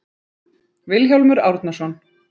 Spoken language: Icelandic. vilhjálmur árnason